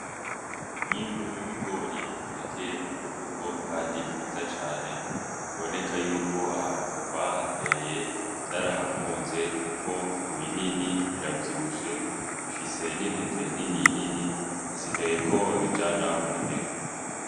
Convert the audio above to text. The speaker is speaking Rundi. Umwimbu w'ibigori utekeye mumifuko Kandi myiza cane biboneka yuko ahantu bahateye vyarahakunze kuko ni binini biravyibushe bifise n'intete nini nini hasigaye ko babijana mu bigega.